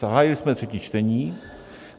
Zahájili jsme třetí čtení.